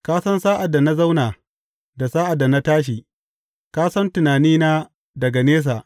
Ka san sa’ad da na zauna da sa’ad da na tashi; ka san tunanina daga nesa.